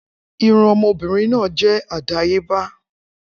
Irun ọmọbìnrin náà je àdáyébá